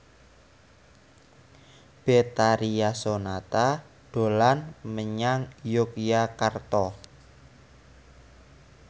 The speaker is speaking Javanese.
Betharia Sonata dolan menyang Yogyakarta